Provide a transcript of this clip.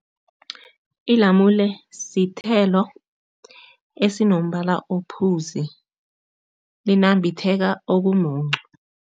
Ilamule sithelo esinombala ophuzi, linambitheka okumuncu.